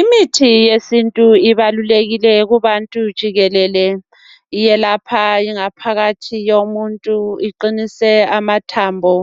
Imithi yesintu ibalulekile kubantu jikelele. Iyelapha ingaphakathi yomuntu iqinise amathambo.